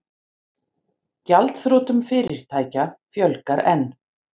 Gjaldþrotum fyrirtækja fjölgar enn